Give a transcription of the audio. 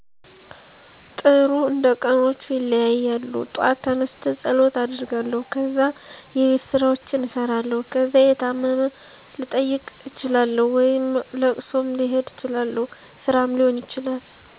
ጥሩ እንደቀኖቹ ይለያያሉ ጧት ተነስቸ ፀሎት አደርጋለሁ ከዛ የቤትስራዎችን እሰራለሁ ከዛ የታመም ልጠይቅ እችላለሁ ወይም እለቅሶም ልሄድ እችላለሁ ስራም ሊሆን ይችላል